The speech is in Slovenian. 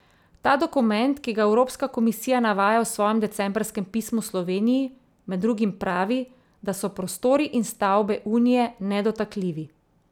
Ta dokument, ki ga evropska komisija navaja v svojem decembrskem pismu Sloveniji, med drugim pravi, da so prostori in stavbe Unije nedotakljivi.